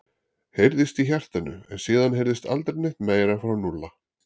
heyrðist í hjartanu en síðan heyrðist aldrei neitt meira frá Núlla.